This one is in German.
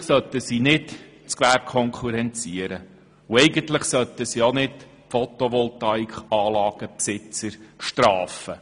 Eigentlich sollte sie nicht das Gewerbe konkurrenzieren und auch nicht die Besitzer von Photovoltaik-Anlagen bestrafen.